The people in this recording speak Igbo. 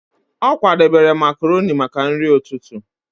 Ọ kwadebere makroni maka nri ụtụtụ.